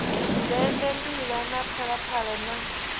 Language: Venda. dende mbila na phalaphala na